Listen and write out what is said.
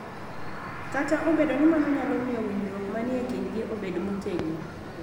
Kata obedo ni mano nyalo miyo winjruok ma ni e kindgi obed motegno,